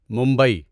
Mumbai